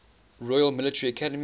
royal military academy